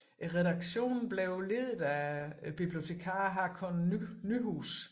Redaktionen blev ledet af bibliotekaren Haakon Nyhuus